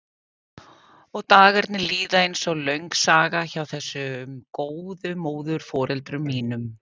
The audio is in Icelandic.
Og dagarnir líða einsog löng saga hjá þessum góðu móðurforeldrum mínum.